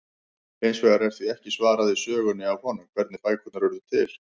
Hins vegar er því ekki svarað í sögunni af honum, hvernig bækurnar urðu til!?